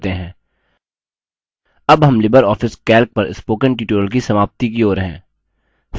अब हम LibreOffice calc पर spoken tutorial की समाप्ति की ओर हैं